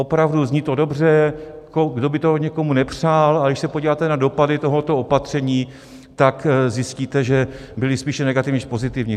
Opravdu, zní to dobře, kdo by to někomu nepřál, ale když se podíváte na dopady tohoto opatření, tak zjistíte, že byly spíše negativní než pozitivní.